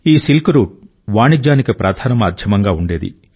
ఈ silk route వాణిజ్యానికి ప్రధాన మాధ్యమంగా ఉండేది